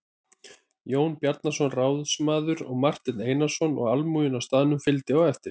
Jón Bjarnason ráðsmaður og Marteinn Einarsson og almúgi á staðnum fylgdi á eftir.